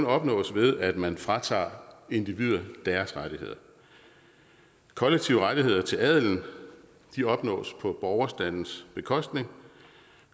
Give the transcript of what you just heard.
opnås ved at man fratager individer deres rettigheder kollektive rettigheder til adelen opnås på borgerstandens bekostning